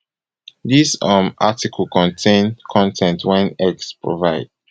dis um article contain con ten t wey x provide